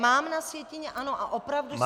Mám na sjetině ano a opravdu jsem...